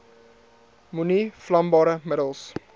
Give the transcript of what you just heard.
moenie vlambare middels